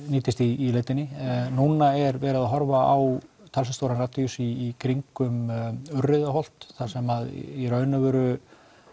nýtist í leitinni núna er verið að horfa á talsvert stóran radíus í kringum Urriðaholt þar sem í raun og veru